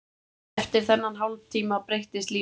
Eftir þennan hálftíma breyttist líf hans.